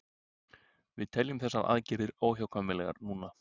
Við teljum þessar aðgerðir óhjákvæmilegar núna